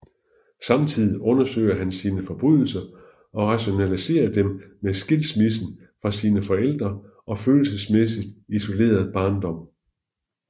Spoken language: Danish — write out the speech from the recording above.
Samtidig undersøger han sine forbrydelser og rationaliserer dem med skilsmissen fra sine forældre og følelsesmæssigt isolerede barndom